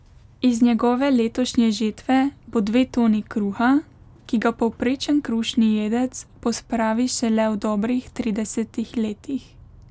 Iz njegove letošnje žetve bo dve toni kruha, ki ga povprečen krušni jedec pospravi šele v dobrih tridesetih letih.